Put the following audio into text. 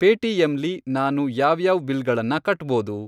Paytm ಲಿ ನಾನು ಯಾವ್ಯಾವ್ ಬಿಲ್ಗಳನ್ನ ಕಟ್ಬೋದು?